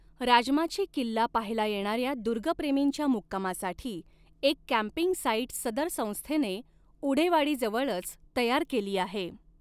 राजमाची किल्ला पहायला येणाऱ्या दुर्गप्रेमींच्या मुक्कामासाठी एक कॅंपिंग साइट सदर संस्थेने उढेवाडीजवळच तयार केली आहे.